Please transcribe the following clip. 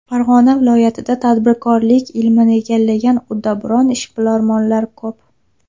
Farg‘ona viloyatida tadbirkorlik ilmini egallagan uddaburon ishbilarmonlar ko‘p.